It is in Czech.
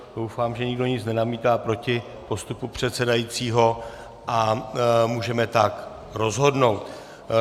Doufám, že nikdo nic nenamítá proti postupu předsedajícího a můžeme tak rozhodnout.